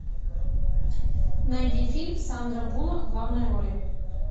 найди фильм сандра буллок в главной роли